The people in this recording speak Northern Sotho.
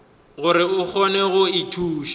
gore a kgone go ithuša